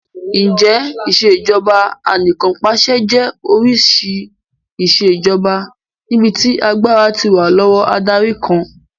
Ǹjẹ́ Ìṣèjọba Anìkànpàṣẹ jẹ́ oríṣi ìṣèjoba níbi tí agbára ti wà lọ́wọ́ adarí kan